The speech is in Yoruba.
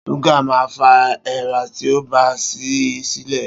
súgà ma fa èèra tí o bá sí i sílẹ̀.